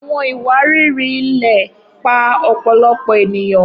Awọn iwariri-ilẹ pa ọpọlọpọ eniyan